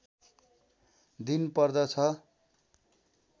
दिन पर्दछ